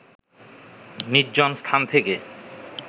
নির্জন স্থান থেকে